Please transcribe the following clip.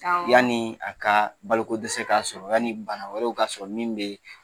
Awɔ.Yanni a ka balo ko dɛsɛ k'a sɔrɔ, yanni bana wɛrɛw ka sɔrɔ min bɛ